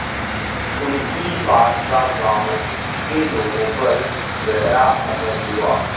उनकी बात का गांव के लोगों पर गहरा असर हुआ